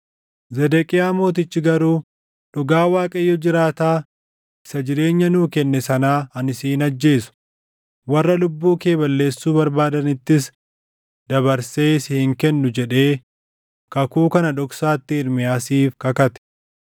Zedeqiyaa Mootichi garuu, “Dhugaa Waaqayyo jiraataa isa jireenya nuu kenne sanaa ani si hin ajjeesu; warra lubbuu kee balleessuu barbaadanittis dabarsee si hin kennu” jedhee kakuu kana dhoksaatti Ermiyaasiif kakate.